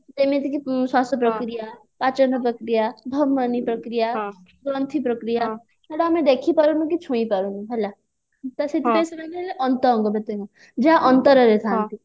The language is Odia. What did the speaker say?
ଅନ୍ତ ଅଙ୍ଗ ପ୍ରତ୍ୟଙ୍ଗ କଣ ଯେମିତିକି ଶ୍ଵାସ ପ୍ରକ୍ରିୟା ପାଚନ ପ୍ରକ୍ରିୟା ଧମନୀ ପ୍ରକ୍ରିୟା ଗନ୍ଥି ପ୍ରକ୍ରିୟା ସେଇଟା ଆମେ ଦେଖି ପାରୁନୁ କି ଛୁଇଁ ପାରୁନୁ ହେଲା ତ ସେଥିପାଇଁ ସେମାନେ ଅନ୍ତ ଅଙ୍ଗ ପ୍ରତ୍ୟଙ୍ଗ ଯାହା ଅନ୍ତରରେ ଥାନ୍ତି